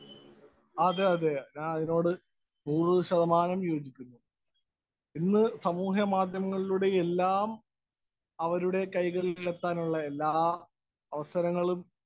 Speaker 1 അതേ അതേ. ഞാനതിനോട് നൂറുശതമാനം യോജിക്കുന്നു. ഇന്ന് സമൂഹമാധ്യമങ്ങളിലൂടെ എല്ലാം അവരുടെ കൈകളിലെത്താനുള്ള എല്ലാ അവസരങ്ങളും